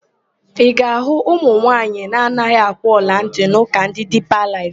Ị ga-ahụ ụmụnwaanyị na-anaghị akwụ ọlantị n'ụka ndị Diipa Laịf.